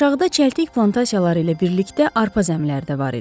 Aşağıda çəltik plantasiyaları ilə birlikdə arpa zəmilər də var idi.